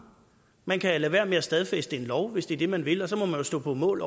man kan lade være med at stadfæste en lov hvis det er det man vil og så må man jo stå på mål